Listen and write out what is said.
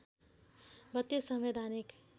३२ संवैधानिक